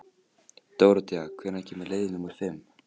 Dóróthea, hvenær kemur leið númer fimm?